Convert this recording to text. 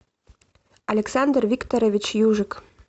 александр викторович южик